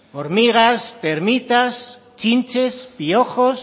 hormigas termitas chinches piojos